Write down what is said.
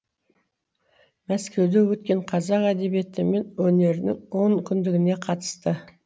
мәскеуде өткен қазақ әдебиеті мен өнерінің он күндігіне қатысты